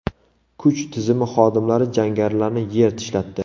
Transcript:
Kuch tizimi xodimlari jangarilarni yer tishlatdi.